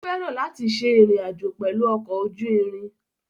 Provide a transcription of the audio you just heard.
Ó fẹ́ràn láti ṣe ìrìn àjò pẹ̀lú ọkọ̀ ojú irin.